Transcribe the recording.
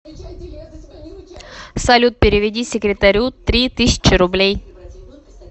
салют переведи секретарю три тысячи рублей